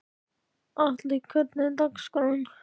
Atli, hvernig er dagskráin?